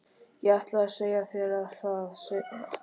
Ég ætlaði að segja þér það seinna.